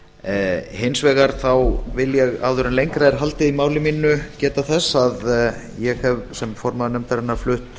framhaldsnefndarálit hins vegar þá vil ég áður en lengra er haldið í máli mínu geta þess að ég hef sem formaður nefndarinnar flutt